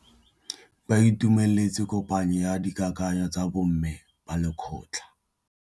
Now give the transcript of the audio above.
Ba itumeletse kôpanyo ya dikakanyô tsa bo mme ba lekgotla.